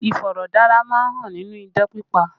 Iforodara má ń hàn nínú idán pípa